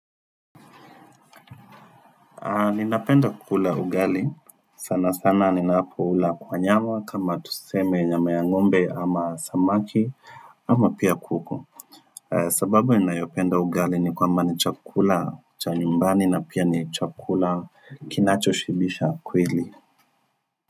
Ninapenda kukula ugali, sana sana ninapoula kwa nyama kama tuseme nyama ya ng'ombe ama samaki ama pia kuku. Sababu ninayopenda ugali ni kwamba ni chakula cha nyumbani na pia ni chakula kinacho shibisha kweli.